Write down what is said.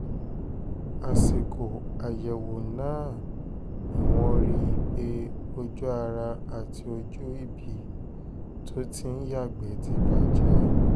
àsìkò àyẹ̀wò náà ni wọ́n rí i pé ojú ara àti ojú ibi tó ti ń yàgbẹ́ ti bàjẹ́